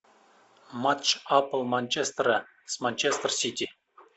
матч апл манчестера с манчестер сити